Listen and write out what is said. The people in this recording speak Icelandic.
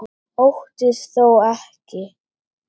Óttist þó ekki.